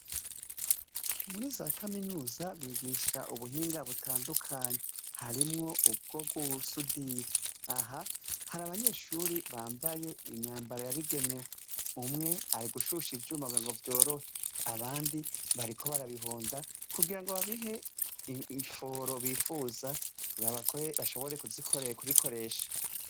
Muri za kaminuza bigisha ubuhinga butandukanyi harimwo ubwo rwusudira aha hari abanyeshuri bambaye imyambaro yabigenewe umwe ari gushusha ivyuma ngo vyorohe abandi bariko barabihonda kugira ngo babihe imforo bifuza kuwo abakore bashobore kuzikosha kubikoresha.